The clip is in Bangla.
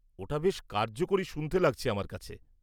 ওটা বেশ কার্যকরী শুনতে লাগছে আমার কাছে।